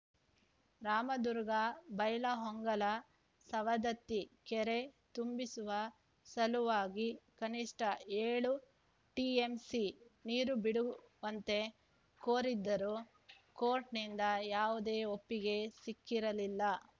ರಾಮದುರ್ಗ ಬೈಲಹೊಂಗಲ ಸವದತ್ತಿ ಕೆರೆ ತುಂಬಿಸುವ ಸಲುವಾಗಿ ಕನಿಷ್ಠ ಏಳು ಟಿಎಂಸಿ ನೀರು ಬಿಡುವಂತೆ ಕೋರಿದ್ದರೂ ಕೋರ್ಟ್‌ನಿಂದ ಯಾವುದೇ ಒಪ್ಪಿಗೆ ಸಿಕ್ಕಿರಲಿಲ್ಲ